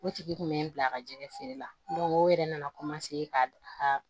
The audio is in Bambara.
O tigi kun bɛ n bila a ka jɛgɛ feere la o yɛrɛ nana ka